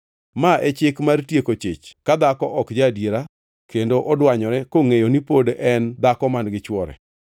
“ ‘Ma e chik mar tieko chich ka dhako ok ja-adiera kendo odwanyore, kongʼeyo ni pod en dhako man-gi chwore,